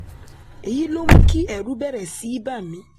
èyí ló mú kí ẹ̀rù bẹ̀rẹ̀ sí í bà mí